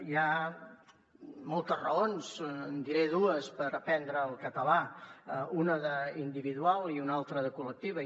hi ha moltes raons en diré dues per aprendre el català una d’individual i una altra de col·lectiva